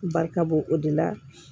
Barika bo o de la